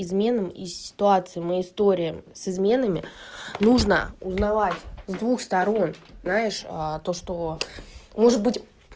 изменам и ситуации мы история с изменами нужно узнавать с двух сторон знаешь то что может быть